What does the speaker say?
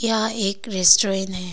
यहा एक रेस्टोरेन है।